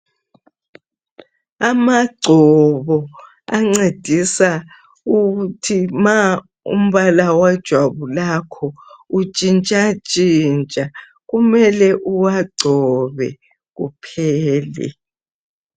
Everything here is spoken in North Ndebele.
Amagcobo ancedisa ukuthi uma umbala wejwabu lakho utshintsha ntshintsha kumele uwagcobe kuphele.